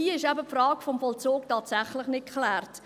Hier ist die Frage des Vollzugs tatsächlich nicht geklärt.